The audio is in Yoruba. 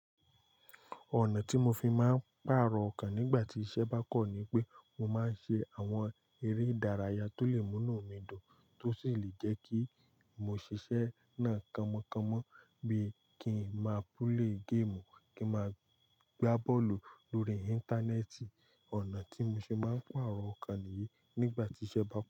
Ọ̀nà tí mo fi máa ń pàrọ̀ ọkàn nígbà tí iṣẹ́ bá kọ̀ ni pé mo máa ń ṣe àwọn eré ìdárayá tó lè múnú mi dùn, tó sì lè jẹ́ kí mo ṣiṣẹ́ náà kọ̀mọ̀kọ̀mọ̀. Bíi kí n máa play game, kí n máa gbá bọ́ọ̀lù lórí Íńtánẹ́ẹ̀tì. Ọ̀nà tí mo ṣe máa ń pàrọ̀ ọkàn nìyí nígbà tí iṣẹ́ bá pọ̀.